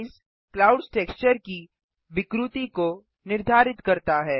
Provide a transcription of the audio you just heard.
noise clouds texture की विकृति को निर्धारित करता है